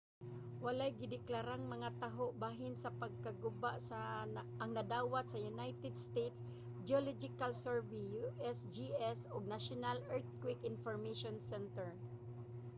walay direktang mga taho bahin sa pagkaguba ang nadawat sa united states geological survey usgs ug national earthquake information center